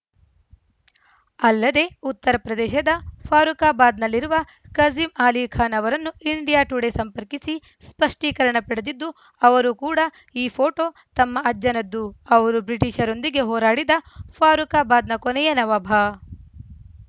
ಅಲ್ಲದೆ ಉತ್ತರ ಪ್ರದೇಶದ ಫಾರುಖಾಬಾದ್‌ನಲ್ಲಿರುವ ಕಝೀಮ್‌ ಆಲಿ ಖಾನ್‌ ಅವರನ್ನು ಇಂಡಿಯಾ ಟುಡೇ ಸಂಪರ್ಕಿಸಿ ಸ್ಪಷ್ಟೀಕರಣ ಪಡೆದಿದ್ದು ಅವರೂ ಕೂಡ ಈ ಫೋಟೋ ತಮ್ಮ ಅಜ್ಜನದ್ದು ಅವರು ಬ್ರಿಟಿಷರೊಂದಿಗೆ ಹೋರಾಡಿದ ಫಾರುಖಾಬಾದ್‌ನ ಕೊನೆಯ ನವಾಬ